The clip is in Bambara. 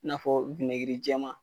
N'a fɔ jɛma.